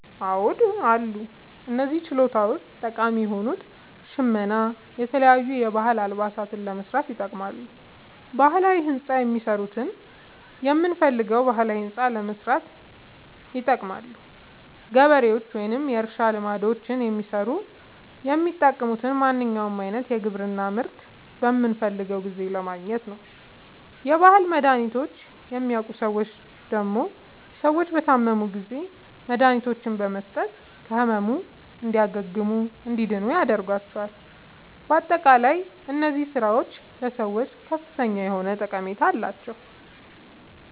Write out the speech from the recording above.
አዎድ አሉ። እነዚህ ችሎታዎች ጠቃሚ የሆኑት ሸመና የተለያዩ የባህል አልባሳትን ለመስራት ይጠቅማሉ። ባህላዊ ህንፃ የሚሠሩት የምንፈልገዉን ባህላዊ ህንፃ ለማሠራት ይጠቅማሉ። ገበሬዎች ወይም የእርሻ ልማዶችን የሚሠሩት የሚጠቅሙት ማንኛዉንም አይነት የግብርና ምርት በምንፈልገዉ ጊዜ ለማግኘት ነዉ። የባህል መድሀኒቶችን የሚያዉቁ ሠዎች ደግሞ ሰዎች በታመሙ ጊዜ መድሀኒቶችን በመስጠት ከህመሙ እንዲያግሙና እንዲድኑ ያደርጓቸዋል። በአጠቃላይ እነዚህ ስራዎች ለሰዎች ከፍተኛ የሆነ ጠቀሜታ አላቸዉ።